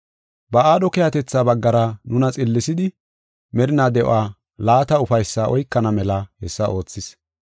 Ba aadho keehatetha baggara nuna xillisidi merinaa de7uwa laata ufaysaa oykana mela hessa oothis.